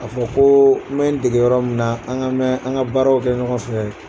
K'a fɔ koo n bɛ n dege yɔrɔ min na an ka mɛn an ka baaraw kɛ ɲɔgɔn fɛ ye